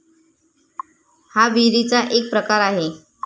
हा विहिरीचा एक प्रकार आहे.